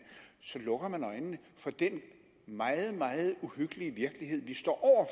så lukker man øjnene for den meget meget uhyggelige virkelighed vi står